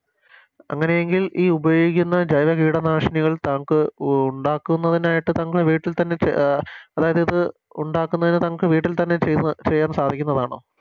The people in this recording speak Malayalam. അങ്ങനെ എങ്കിൽ ഈ ഉപയോഗിക്കുന്ന ജൈവ കീടനാശിനികൾ തൻക്ക് ഉ ഉണ്ടാക്കുന്നതിനായിട്ട് താങ്കളെ വീട്ടിൽ തന്നെ അഹ് അതായതിത് ഉണ്ടാക്കുന്നതിനിത് തൻക്ക് വീട്ടിൽ തന്നെ ചെയ്യാൻ സാധിക്കുന്നതാണോ